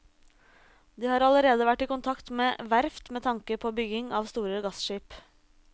De har allerede vært i kontakt med verft med tanke på bygging av store gasskip.